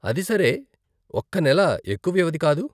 అది సరే, ఒక్క నెల ఎక్కువ వ్యవధి కాదు.